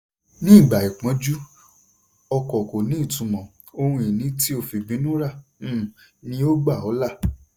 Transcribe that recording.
nígbà ìpọ́njú ọkọ̀ kò ní ìtumọ̀; ohun ìní tí o fìbínú rà um ni ó gbà ọ́ là.